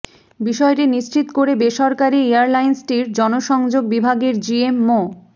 বিষয়টি নিশ্চিত করে বেসরকারি এয়ারলাইন্সটির জনসংযোগ বিভাগের জিএম মো